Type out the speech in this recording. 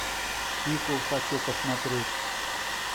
пико хочу посмотреть